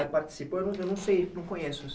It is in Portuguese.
É. Eu não sei, não conheço isso.